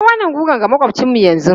Kai wannan guga ga maƙwabcinmu yanzu!